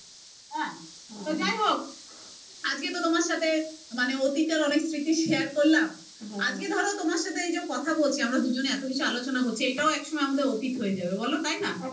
তো যাই হোক আজকে তো তোমার সাথে অতীতের অনেক স্মৃতি share করলাম আজকে ধর তোমার সাথে এই যে কথা বলছি আমরা দুজনে এত কিছু আলচনা করছি এইটাও একসময় আমাদের অতীত হয়ে যাবে বলো তাই না?